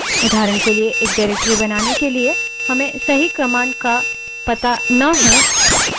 उदाहरण के लिए directory बनाने के लिए हमें सही command का पता ना हो